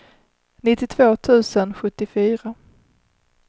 nittiotvå tusen sjuttiofyra